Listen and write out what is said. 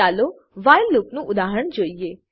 ચાલો વ્હાઈલ લૂપનું ઉદાહરણ જોઈએ